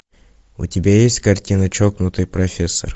у тебя есть картина чокнутый профессор